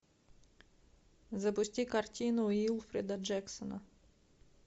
запусти картину уилфрида джексона